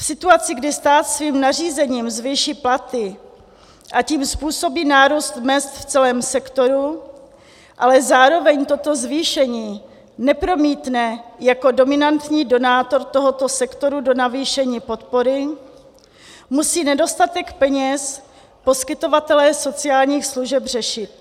V situaci, kdy stát svým nařízením zvýší platy, a tím způsobí nárůst mezd v celém sektoru, ale zároveň toto zvýšení nepromítne jako dominantní donátor tohoto sektoru do navýšení podpory, musí nedostatek peněz poskytovatelé sociálních služeb řešit.